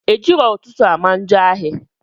Ejirọ ụtụtụ ama njọ ahị